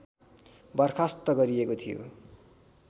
बर्खास्त गरिएको थियो